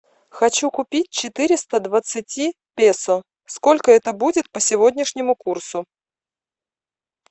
хочу купить четыреста двадцати песо сколько это будет по сегодняшнему курсу